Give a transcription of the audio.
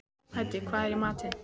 Hædý, hvað er í matinn?